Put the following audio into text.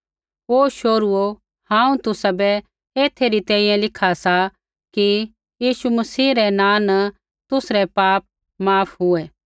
हे शोहरुओ हांऊँ तुसाबै एथै री तैंईंयैं लिखा सा कि यीशु मसीह रै नाँ न तुसरै पाप माफ हुऐ